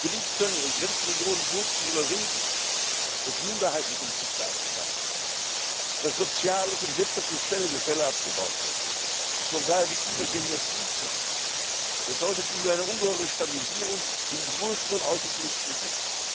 Wenn es gelingt, Grenzregionen so zu überwinden, dass Minderheitenkonflikte abgebaut werden, dass soziales und wirtschaftliches Gefälle abgebaut wird und von daher die Übergänge fließender sind, bedeutet das eine ungeheure Stabilisierung im größeren außenpolitischen Sinne.